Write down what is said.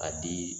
A di